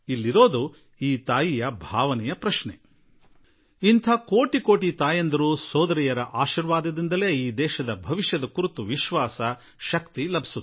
ಸವಾಲು ಆ ತಾಯಿಯ ಭಾವನೆಗಳು ಮತ್ತು ಇಂತಹ ಕೋಟಿ ಕೋಟಿ ತಾಯಂದಿರು ಸೋದರಿಯರ ಆಶೀರ್ವಾದವೇ ನನ್ನ ದೇಶದ ಭವಿಷ್ಯಕ್ಕಾಗಿ ಭರವಸೆ ಮತ್ತು ಶಕ್ತಿಯಾಗಿ ಮಾರ್ಪಡುತ್ತದೆ